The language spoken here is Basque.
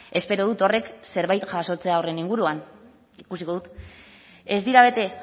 espero dut horrek zerbait jasotzea horren inguruan ikusiko dut ez dira bete